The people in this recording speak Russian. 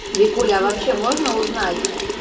викуля а вообще можно узнать